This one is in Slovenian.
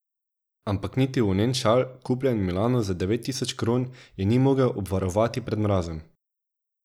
Ampak niti volnen šal, kupljen v Milanu za devet tisoč kron, je ni mogel obvarovati pred mrazom.